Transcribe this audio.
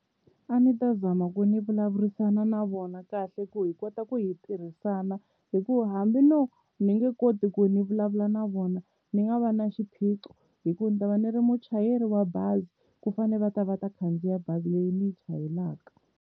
A ndzi ta zama ku ni vulavurisana na vona kahle ku hi kota ku hi tirhisana hikuva hambi no ni nge koti ku ni vulavula na vona ni nga va na xiphiqo, hikuva ndzi ta va ni ri muchayeri wa bazi ku fanele va ta va ta khandziya bazi leyi ni yi chayelaka.